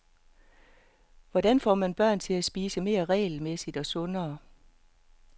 Hvordan får man børn til at spise mere regelmæssigt og sundere.